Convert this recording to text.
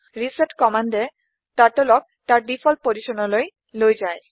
reset কম্মান্দে turtle ক তাৰ ডিফল্ট অৱস্হান লৈ লৈ যায়